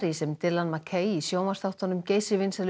sem Dylan McCay í sjónvarpsþáttunum geysivinsælu